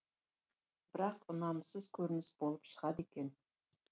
бірақ ұнамсыз көрініс болып шығады екен